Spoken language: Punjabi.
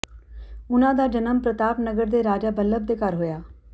ਉਨ੍ਹਾਂ ਦਾ ਜਨਮ ਪ੍ਰਤਾਪ ਨਗਰ ਦੇ ਰਾਜਾ ਬੱਲਭ ਦੇ ਘਰ ਹੋਇਆ